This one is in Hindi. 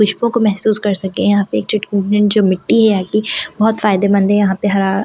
खुशबू को महसूस कर सके यहां पे एक चुटक में जो मिट्टी है आपकी बहुत फायदेमंद है यहां पे हरा हर एक आगे।